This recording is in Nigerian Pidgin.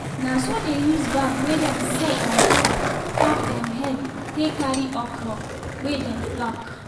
na so dey use bag wey dem set on top top dem head take carry okra wey dem pluck